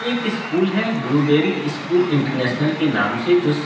एक स्कूल है Blueberry school international के नाम से जो--